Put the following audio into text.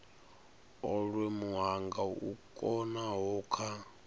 olwe muhanga u konaho kha